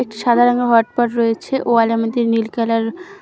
সাদা রঙের hot pot রয়েছে ওয়াল এর মধ্যে নীল কালার --